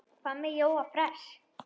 Hvað með Jóa fress?